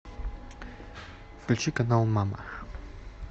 включи канал мама